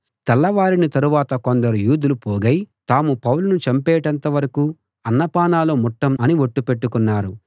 తెల్లవారిన తరువాత కొందరు యూదులు పోగై తాము పౌలును చంపేటంతవరకూ అన్నపానాలు ముట్టం అని ఒట్టు పెట్టుకున్నారు